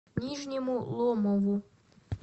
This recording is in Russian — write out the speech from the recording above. нижнему ломову